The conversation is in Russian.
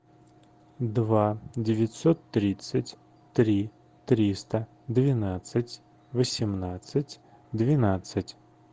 два девятьсот тридцать три триста двенадцать восемнадцать двенадцать